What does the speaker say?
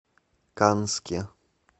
канске